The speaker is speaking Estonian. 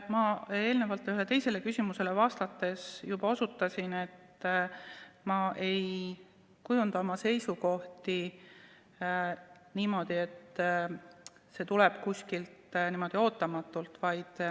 Ma eelnevalt ühele teisele küsimusele vastates juba osutasin, et ma ei kujunda oma seisukohti niimoodi, et tuleb kuskilt ootamatult ettepanek.